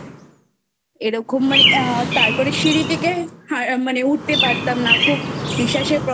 এরকম মানে তারপরে সিঁড়ি থেকে মানে উঠতে পারতাম না. খুব নিঃশ্বাসের